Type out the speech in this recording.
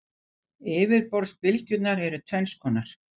Yfirborðsbylgjurnar eru tvenns konar.